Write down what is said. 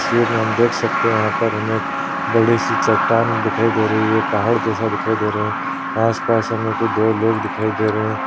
तस्वीर में हम देख सकते है यहाँ पर हमें एक बड़ी सी चट्टान दिखाई दे रही है पहाड़ जैसा दिखाई दे रहा है आस-पास हमें कोई दो लोग दिखाई दे रहे हैं।